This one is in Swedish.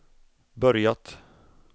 börjat